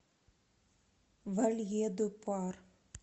вальедупар